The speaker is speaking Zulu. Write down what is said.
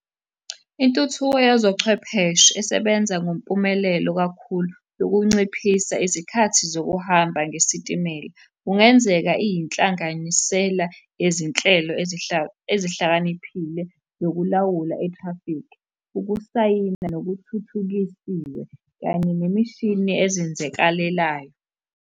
Intuthuko yezochwepheshe esebenza ngompumelelo kakhulu yokunciphisa izikhathi zokuhamba ngesitimela. Kungenzeka iyinhlanganisela yezinhlelo ezihlakaniphile zokulawula i-traffic, ukusayina nokuthuthukisiwe, kanye nemishini ezinzekalelayo.